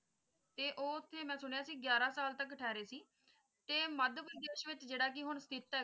ਤੇ ਉਥੇ ਮੈਂ ਸੁਣਿਆ ਸੀ ਗਯਾਰਾ ਸਾਲ ਤਕ ਠਹਿਰੇ ਸੀ ਤੇ ਜੇਦਾ ਕਿ ਹੁਣ ।